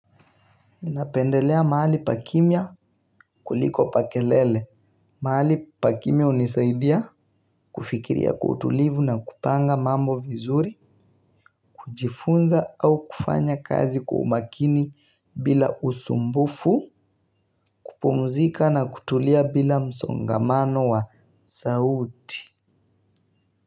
Ninapendelea mahali pa kimya kuliko pa kelele. Mahali pa kimya hunisaidia kufikiria kwa utulivu na kupanga mambo vizuri, kujifunza au kufanya kazi kwa umakini bila usumbufu, kupumzika na kutulia bila msongamano wa sauti.